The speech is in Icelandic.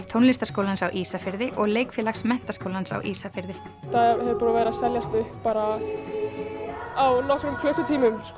Tónlistarskólans á Ísafirði og leikfélags Menntaskólans á Ísafirði það er búið að vera að seljast upp á nokkrum klukkutímum